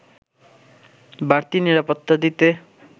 বাড়তি নিরাপত্তা দিতে